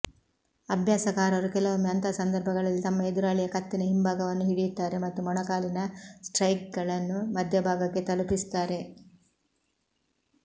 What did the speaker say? ಅಭ್ಯಾಸಕಾರರು ಕೆಲವೊಮ್ಮೆ ಅಂತಹ ಸಂದರ್ಭಗಳಲ್ಲಿ ತಮ್ಮ ಎದುರಾಳಿಯ ಕತ್ತಿನ ಹಿಂಭಾಗವನ್ನು ಹಿಡಿಯುತ್ತಾರೆ ಮತ್ತು ಮೊಣಕಾಲಿನ ಸ್ಟ್ರೈಕ್ಗಳನ್ನು ಮಧ್ಯಭಾಗಕ್ಕೆ ತಲುಪಿಸುತ್ತಾರೆ